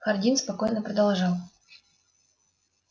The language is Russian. хардин спокойно продолжал